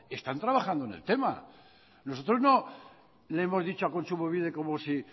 están trabajando en el tema nosotros no le hemos dicho a kontsumobide como si